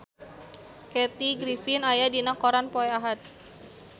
Kathy Griffin aya dina koran poe Ahad